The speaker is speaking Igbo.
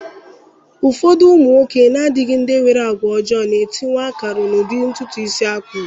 Ụfọdụ ụmụ nwoke na-adịghị ndị nwere àgwà ọjọọ na-etinyewa akara n'ụdị ntụtụ isi ha kpụrụ.